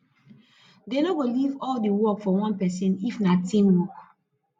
dey no go leave all di work for one pesin if na teamwork